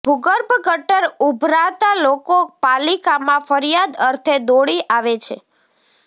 ભુગર્ભ ગટર ઉભરાતાં લોકો પાલિકામાં ફરીયાદ અર્થે દોડી આવે છે